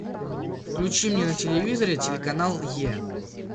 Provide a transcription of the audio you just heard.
включи мне на телевизоре телеканал е